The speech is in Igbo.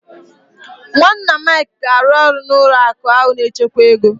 Nwanna Mike ga-arụ ọrụ n'ụlọ akụ ahụ na-echekwa ego.